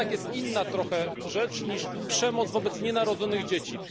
To jednak jest inna trochę rzecz niż przemoc wobec nienarodzonych dzieci.